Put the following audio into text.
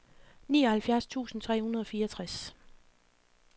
nioghalvfjerds tusind tre hundrede og fireogtres